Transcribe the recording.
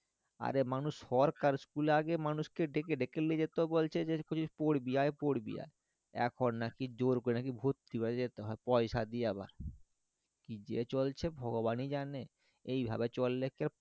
অরে মানুষ সরকারি school এ আগে মানুষ কে আগে ডেকে ডেকে লিয়ে যেত বলছে যে বলছে যে পড়বি আই পড়বি আই এখন নাকি জোর করে ভর্তি হইয়া যেত হ্যাঁ পয়সা দিয়ে আবার কি যে চলছে ভগবান ই জানে এই ভাবে চললে কেও